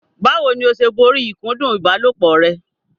Báwo ni o ṣe borí ìkúndù ìbálòpọ̀ rẹ?